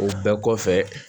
O bɛɛ kɔfɛ